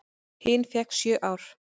Hin fékk sjö ár.